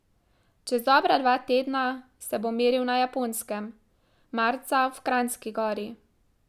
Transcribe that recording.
Čez dobra dva tedna se bo meril na Japonskem, marca v Kranjski Gori.